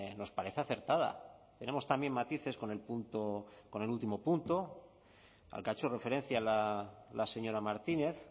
nos parece acertada tenemos también matices con el punto con el último punto al que ha hecho referencia la señora martínez